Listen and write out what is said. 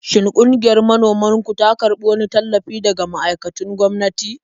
Shin ƙungiyar manoman ku ta karbi wani tallafi daga ma'aikatun gwamnati?